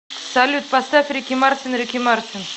салют поставь рики мартин рики мартин